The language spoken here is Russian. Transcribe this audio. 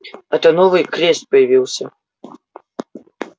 это новый квест появился